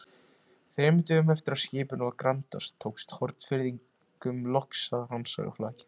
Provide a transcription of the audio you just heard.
Þremur dögum eftir að skipinu var grandað, tókst Hornfirðingum loks að rannsaka flakið.